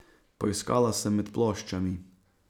Poiskala sem med ploščami.